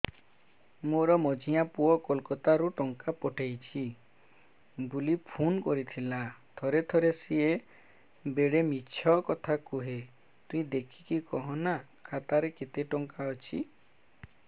ମୋର ମଝିଆ ପୁଅ କୋଲକତା ରୁ ଟଙ୍କା ପଠେଇଚି ବୁଲି ଫୁନ କରିଥିଲା ଥରେ ଥରେ ସିଏ ବେଡେ ମିଛ କଥା କୁହେ ତୁଇ ଦେଖିକି କହନା ଖାତାରେ କେତ ଟଙ୍କା ଅଛି